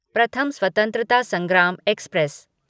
प्रथम स्वत्रंतता संग्राम एक्सप्रेस